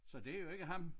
Så det jo ikke ham